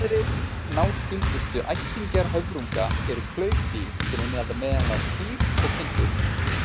Aðrir náskyldustu ættingjar höfrunga eru klaufdýr, sem innihalda meðal annars kýr og kindur.